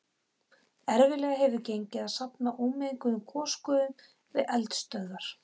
Erfiðlega hefur gengið að safna ómenguðum gosgufum við eldstöðvar.